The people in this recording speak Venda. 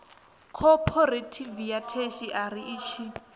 khophorethivi ya theshiari i tshi